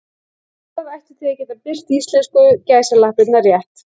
Vafrar ættu því að geta birt íslensku gæsalappirnar rétt.